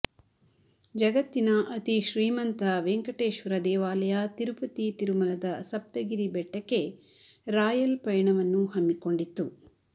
ಜಗತ್ತಿನ ಅತಿ ಶ್ರೀಮಂತ ವೆಂಕೇಟೇಶ್ವರ ದೇವಾಲಯ ತಿರುಪತಿ ತಿರುಮಲದ ಸಪ್ತಗಿರಿ ಬೆಟ್ಟಕ್ಕೆ ರಾಯಲ್ ಪಯಣವನ್ನು ಹಮ್ಮಿಕೊಂಡಿತ್ತು